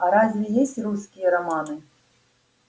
а разве есть русские романы